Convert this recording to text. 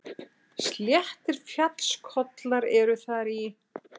Sléttir fjallskollar eru þar í